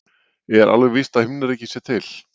Er alveg víst að himnaríki sé til?